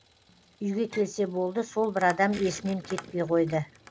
үйге келсе болды сол бір адам есінен кетпей қойды